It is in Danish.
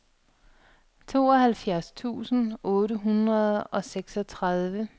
tooghalvfjerds tusind otte hundrede og seksogtredive